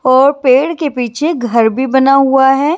और पेड़ के पीछे घर भी बना हुआ है।